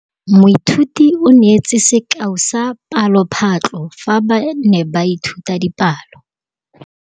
Moithuti o neetse sekaô sa palophatlo fa ba ne ba ithuta dipalo.